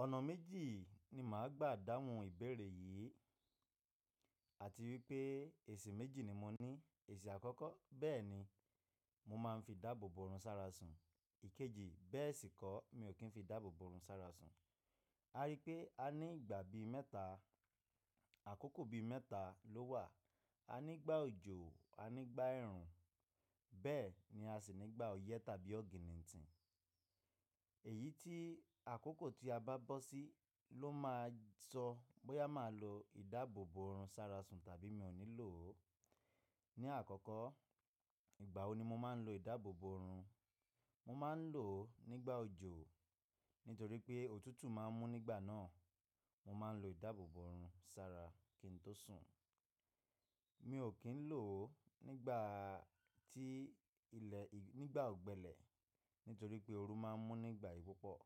Ọ̀nà méjì ni màá gbà dáhùn ìbéèrè yìí àti wípé èsì méjì ni mo ní. Èsì àkọ́kọ́, bẹ́ẹ̀ni mo máa ń fi idáàbò bo run sára sùn. Ìkejì bẹ́ẹ̀ sì kọ́, mi ò kí ń fi ìdáàbòbò òrùn sára sun. A rí i pé a ní ìgbà bi mẹ́ta, àkókò bi mẹ́ta ló wà. A nígbà òjò, a nígbà ẹ̀rùn bẹ́ẹ̀ ni a sì nígbà ọyẹ́ tàbí ọ̀gìnìǹtì. Èyí tí àkókò tí a bá bọ́ sí ló máa sọ bóyá màá lo ìdáàbòbò orun sára sùn tàbí mi ò ní lò ó. Ni àkọ́kọ́, ìgbà wo ni mo máa ń lo ìdáàbòbò orun? Mo máa ń lò ó nígbà òjò nítorí pé òtútù máa ń mú nígbà náà. Mo máa ń lo ìdáàbòbò orun sára kí n tó sùn. Mi ò kí ń lò ó nígbà tí ilẹ̀, nígbà ọ̀gbẹlẹ̀ nítorí pé oru máa ń mú nígbà yìí púpọ̀.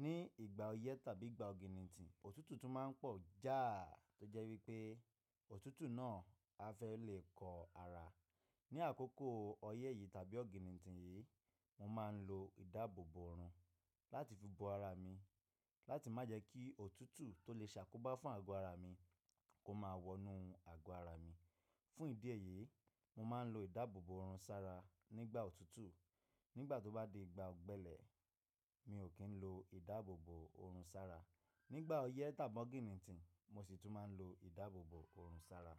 Ní ìgbà ọyẹ́ tàbí ìgbà ọ̀gìnìǹtì, òtútù tún máa ń pọ̀ já tó jẹ́ wípé òtútù náà a fẹ́ lè kọ àrà. Ni àkókò ọyẹ́ yìí tàbí ọ̀gìnìǹtì yìí, mo máa ń lo ìdáàbòbò orun láti fi bo àrà mi láti má jẹ́ kí òtútù tó lè ṣàkóbá fún àgọ́ ara mi kó máa wọnú àgọ́ ara mi. Fún ìdí èyí, mo máa ń lo ìdáàbò bo run sára nígbà òtútù. Nígbà tó bá dé ìgbà ọ̀gbẹlẹ̀, mi ò kí ń lo ìdáàbòbò orun sára. Nígbà ọyẹ́ tàbí ọ̀gìnìǹtì mo sì tún máa ń lo ìdáàbòbò orun sára.